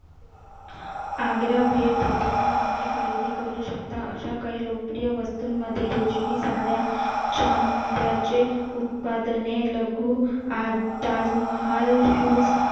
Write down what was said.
आग्रा भेट देताना तुम्ही खरेदी करू शकता अशा काही लोकप्रिय वस्तूंमध्ये रेशमी साड्या उत्पादने लघु